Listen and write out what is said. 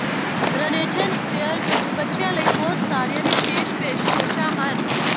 Renaissance fair ਵਿੱਚ ਬੱਚਿਆਂ ਲਈ ਬਹੁਤ ਸਾਰੀਆਂ ਵਿਸ਼ੇਸ਼ ਪੇਸ਼ਕਸ਼ਾਂ ਹਨ